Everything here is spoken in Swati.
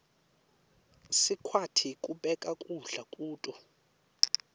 sikwati kubeka kudla kuto